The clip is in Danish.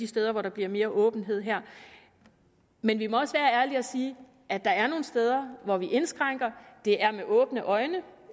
steder hvor der bliver mere åbenhed her men vi må også være ærlige og sige at der er nogle steder hvor vi indskrænker det er med åbne øjne